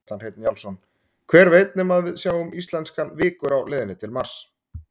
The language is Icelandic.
Kjartan Hreinn Njálsson: Hver veit nema að við sjáum íslenskan vikur á leiðinni til Mars?